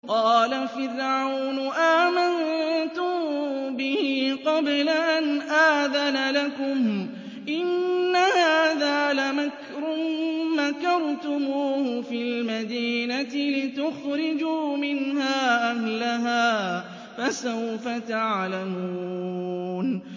قَالَ فِرْعَوْنُ آمَنتُم بِهِ قَبْلَ أَنْ آذَنَ لَكُمْ ۖ إِنَّ هَٰذَا لَمَكْرٌ مَّكَرْتُمُوهُ فِي الْمَدِينَةِ لِتُخْرِجُوا مِنْهَا أَهْلَهَا ۖ فَسَوْفَ تَعْلَمُونَ